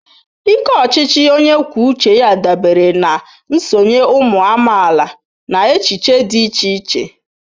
Ike ochichi onye kwuo uche ya dabere na nsonye ụmụ amaala na echiche dị iche iche.